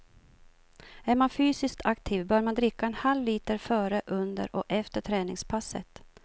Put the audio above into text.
Är man fysiskt aktiv bör man dricka en halvliter före, under och efter träningspasset.